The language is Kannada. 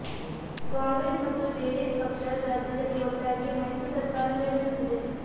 ಕಾಂಗ್ರೆಸ್ ಮತ್ತು ಜೆಡಿಎಸ್ ಪಕ್ಷ ರಾಜ್ಯದಲ್ಲಿ ಒಟ್ಟಾಗಿ ಮೈತ್ರಿ ಸರ್ಕಾರ ನಡೆಸುತ್ತಿದೆ